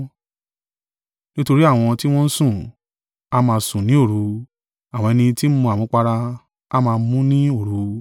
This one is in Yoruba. Nítorí àwọn tí wọ́n ń sùn, a máa sùn ní òru, àwọn ẹni tí ń mu àmupara, a máa mú un ní òru.